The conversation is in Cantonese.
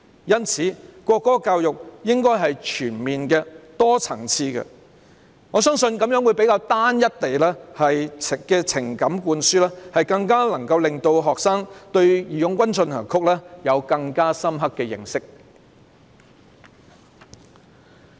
因此，國歌教育應該是全面、多層次的，我相信這樣會比單一的情感灌輸，更能讓學生對"義勇軍進行曲"有更深刻的認識。